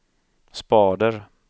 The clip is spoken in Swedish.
spader